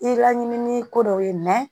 I laɲinin ko dɔw ye